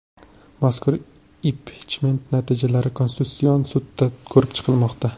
Mazkur impichment natijalari Konstitutsion sudda ko‘rib chiqilmoqda.